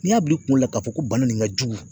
N'i y'a bila i kunna ka fɔ ko bana nin ka jugu